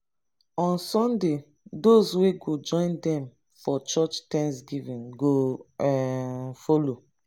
on sunday dose wey go join dem for church thanksgiving go um follow